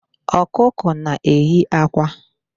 Ọkụkọ na-eyi akwa.